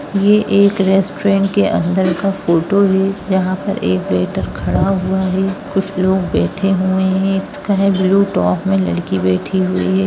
यह एक रेसटूरेंट के अंदर का फोटो है जहाँ पर एक वेटर खड़ा हुआ है कुछ लोग बैठे हुए है एक स्काइ ब्लू टॉप में लड़की बैठी हुई है।